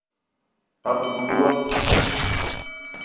абдулов